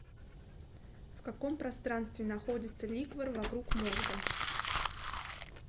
в каком пространстве находится ликвор вокруг мозга